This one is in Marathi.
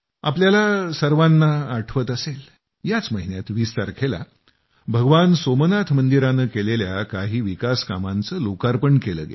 तुम्हा सर्वांना आठवत असेल याच महिन्यात 20 तारखेला भगवान सोमनाथ मंदिरानं केलेल्या काही विकास कामांचे लोकार्पण केलं गेलं